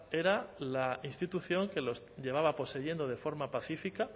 era la institución que los llevaba poseyendo de forma pacífica